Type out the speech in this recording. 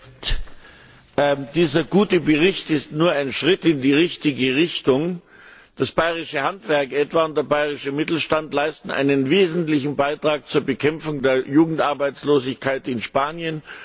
Herr Präsident! Dieser gute Bericht ist nur ein Schritt in die richtige Richtung. Das bayerische Handwerk etwa und der bayerische Mittelstand leisten einen wesentlichen Beitrag zu Bekämpfung der Jugendarbeitslosigkeit in Spanien.